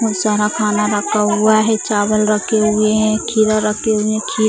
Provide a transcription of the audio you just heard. बहुत सारा खाना रखा हुआ है चावल रखे हुए हैं खीरा रखे हुए हैं खीर --